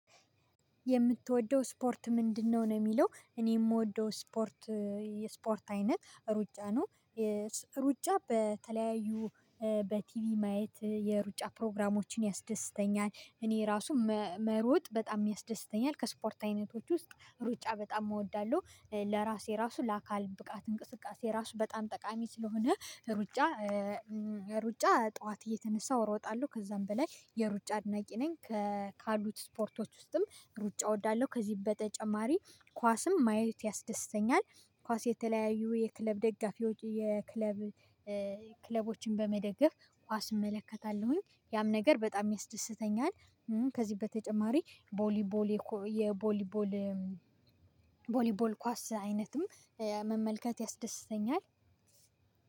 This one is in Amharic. የምትወደው ስፖርት ምንድነው? ነው የሚለው እኔ የምወደው ስፖርት የስፖርት አይነት ሩጫ ነው። ሩጫ በተለያዩ በቲቪ ማየት የሩጫ ፕሮግራሞችን ያስደስተኛል። እኔ ራሱ መሮጥ በጣም ያስደስተኛል። ከስፖርት አይነቶች ውስጥ ሩጫ በጣም እወዳለሁ ለራሴ ራሱ ለአካል ብቃት እንቅስቃሴ ራሱ በጣም ጠቃሚ ስለሆነ። ሩጫ ጠዋት እየተነሳሁ እሮጣለሁ ከዛም በላይ የሩጫ አድናቂ ነኝ። ካሉት ስፖርቶች ውስጥም ሩጫ እወዳለሁ። ከዚህ በተጨማሪ ኳስም ማየት ያስደስተኛል ኳስ የተለያዩ የክለብ ደጋፊዎች የክለብ ክለቦችን በመደገፍ አስመለከታለሁኝ ያም ነገር በጣም ያስደስተኛል። ከዚህ በተጨማሪ ቦሊ ቦሌ የቦሊ ቦል ቦሊ ቦል ኳስ አይነትም መመልከት ያስደስተኛል።